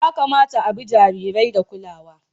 Ya kamata a bi jarirai da kulawa.